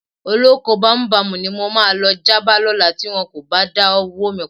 Olóko bámúbamù ni máa lọ já bá lọ́la tí wọn kò bá dáwó mi padà.